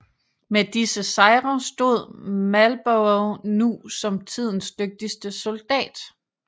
Med disse sejre stod Marlborough nu som tidens dygtigste soldat